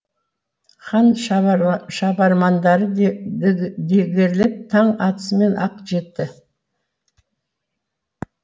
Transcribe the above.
хан шабармандары дігерлеп таң атысымен ақ жетті